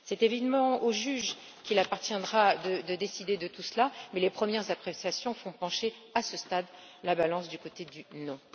C'est évidemment au juge qu'il appartiendra de décider de tout cela, mais les premières appréciations font, à ce stade, pencher la balance du côté du non.